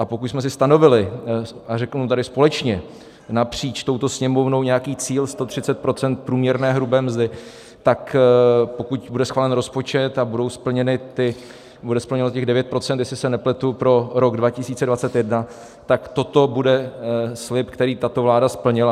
A pokud jsme si stanovili, a řeknu tady společně napříč touto Sněmovnou, nějaký cíl 130 % průměrné hrubé mzdy, tak pokud bude schválen rozpočet a bude splněno těch 9 %, jestli se nepletu, pro rok 2021, tak toto bude slib, který tato vláda splnila.